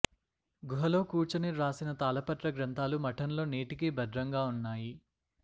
గుహలో కూర్చుని వ్రాసిన తాళపత్ర గ్రంథాలు మఠంలో నేటికీ భద్రంగా ఉన్నాయి